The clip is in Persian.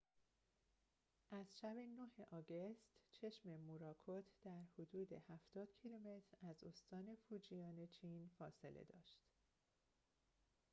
از شب ۹ آگوست چشم موراکوت در حدود هفتاد کیلومتر از استان فوجیان چین فاصله داشت